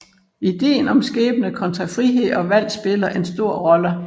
Ideen om skæbne kontra frihed og valg spiller en stor rolle